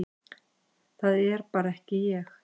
Það er bara ekki ég,